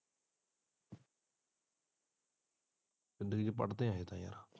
ਵੀਰ ਪੜਦੇ ਹੈ ਹਜੇ ਤਾ ਯਾਰ। ।